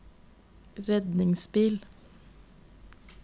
redningsbil